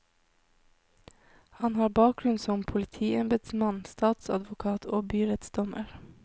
Han har bakgrunn som politiembedsmann, statsadvokat og byrettsdommer.